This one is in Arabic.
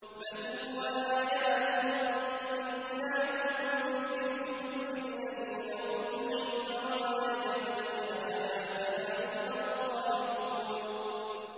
بَلْ هُوَ آيَاتٌ بَيِّنَاتٌ فِي صُدُورِ الَّذِينَ أُوتُوا الْعِلْمَ ۚ وَمَا يَجْحَدُ بِآيَاتِنَا إِلَّا الظَّالِمُونَ